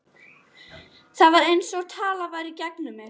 Það var einsog talað væri í gegnum mig.